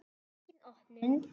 Engin opnun.